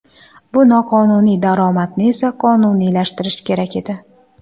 Bu noqonuniy daromadni esa qonuniylashtirish kerak edi.